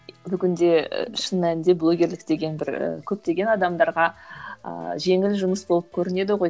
бүгінде шын мәнінде блогерлік деген бір көптеген адамдарға ыыы жеңіл жұмыс болып көрінеді ғой